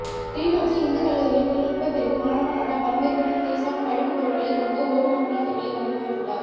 கிளிநொச்சி இந்துக்கல்லூரியின் தொழில்நுட்ப பிரிவு மாணவனான பரமேஸ்வரன் கிருசான் கழிவு பொருட்களை கொண்டு ஓடும் மோட்டார் சைக்கிளை வடிவமைத்துள்ளார்